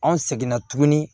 An seginna tuguni